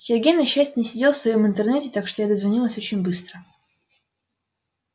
сергей на счастье не сидел в своём интернете так что я дозвонилась очень быстро